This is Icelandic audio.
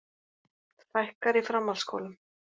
Fækkar í framhaldsskólum